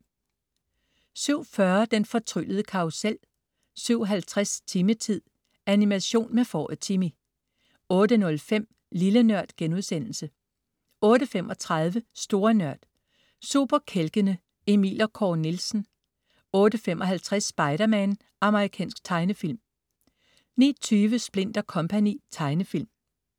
07.40 Den fortryllede karrusel 07.50 Timmy-tid. Animation med fåret Timmy 08.05 Lille Nørd* 08.35 Store Nørd. Superkælkene. Emil og Kåre Nielsen 08.55 Spider-Man. Amerikansk tegnefilm 09.20 Splint & Co. Tegnefilm